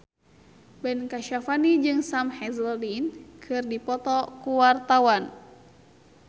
Ben Kasyafani jeung Sam Hazeldine keur dipoto ku wartawan